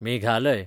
Meghalaya